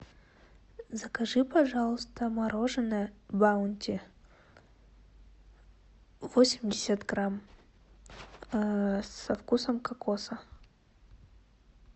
закажи пожалуйста мороженое баунти восемьдесят грамм со вкусом кокоса